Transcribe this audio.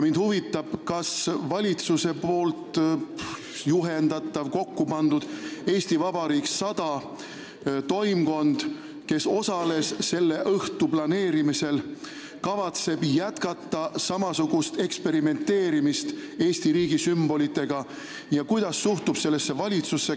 Kas valitsuse juhendatav, tema kokkupandud "Eesti Vabariik 100" toimkond, kes osales selle õhtu planeerimisel, kavatseb jätkata samasugust eksperimenteerimist Eesti riigi sümbolitega ja kuidas suhtub sellesse valitsus?